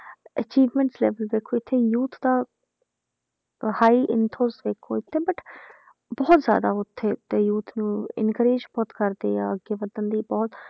achievement level ਦੇਖੋ ਇੱਥੇ youth ਦਾ high enthuse ਦੇਖੋ ਤੇ but ਬਹੁਤ ਜ਼ਿਆਦਾ ਉੱਥੇ ਤੇ youth ਨੂੰ encourage ਬਹੁਤ ਕਰਦੇ ਆ, ਅੱਗੇ ਵਧਣ ਦੀ ਬਹੁਤ